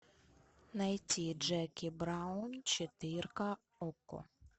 найти джеки браун четырка окко